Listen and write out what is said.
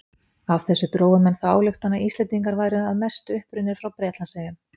Af þessu drógu menn þá ályktun að Íslendingar væru að mestu upprunnir frá Bretlandseyjum.